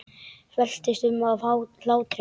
Veltist um af hlátri.